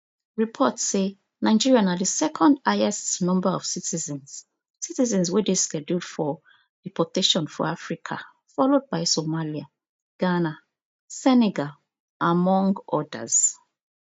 reports say nigeria na di second highest number of citizens citizens wey dey scheduled for deportation for africa followed by somalia ghana senegal among odas